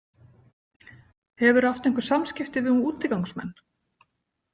Hefurðu átt einhver samskipti við útigangsmenn?